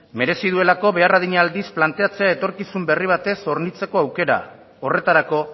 merezi duelako behar adina aldiz planteatzea etorkizun berri batez hornitzeko aukera horretarako